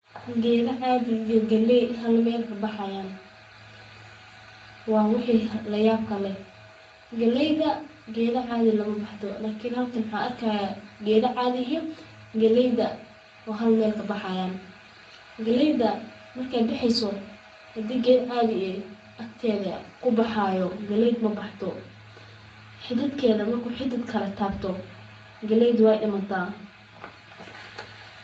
Geeda caadi iyo galeey hal meel kabaxaayan, waa wax layaab ah, galeeyda geeda caadi ah maku baxdo, xididkeeda marku mid kale tabto waay dimataa.